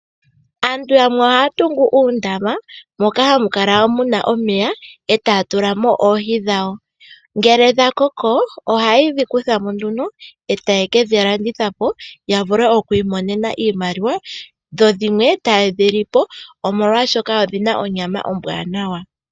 Aantu yamwe ohaya tungu uundama moka hamu kala muna omeya eta ya tulamo oohi dhawo. Ngele dha koko ohaye dhi kutha mo nduno etaye ke dhi landitha po ya vule okwiimonena iimaliwa dho dhimwe ta ye dhi li po oshoka odhina onyama ombwanawa.